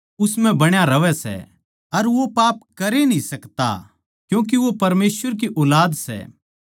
जो खबर थमनै शुरु तै सुणी वो या सै के हम एक दुसरे तै प्यार करां